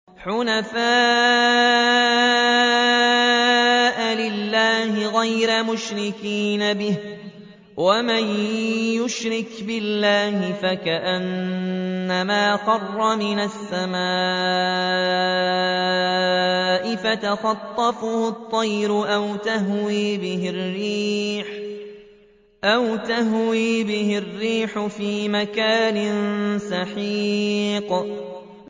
حُنَفَاءَ لِلَّهِ غَيْرَ مُشْرِكِينَ بِهِ ۚ وَمَن يُشْرِكْ بِاللَّهِ فَكَأَنَّمَا خَرَّ مِنَ السَّمَاءِ فَتَخْطَفُهُ الطَّيْرُ أَوْ تَهْوِي بِهِ الرِّيحُ فِي مَكَانٍ سَحِيقٍ